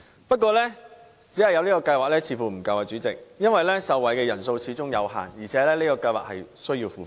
不過，代理主席，只有這個計劃似乎並不足夠，因為受惠人數始終有限，而且計劃需要付費。